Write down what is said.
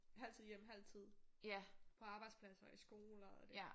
Halv tid hjemme halv tid på arbejdspladser og i skoler og det der